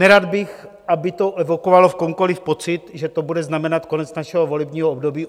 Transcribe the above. Nerad bych, aby to evokovalo v komkoli pocit, že to bude znamenat konec našeho volebního období.